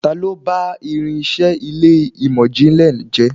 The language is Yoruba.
Ta lo bá irinse ilé imọ-jinlẹ jẹ?